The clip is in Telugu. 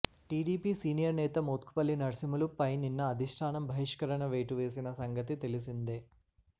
టీడీపీ సీనియర్ నేత మోత్కుపల్లి నర్సింహులు పై నిన్న అధిష్టానం బహిష్కరణ వేటు వేసిన సంగతి తెలిసిందే